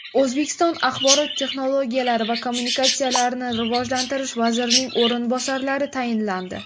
O‘zbekiston Axborot texnologiyalari va kommunikatsiyalarini rivojlantirish vazirining o‘rinbosarlari tayinlandi.